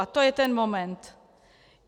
A to je ten moment.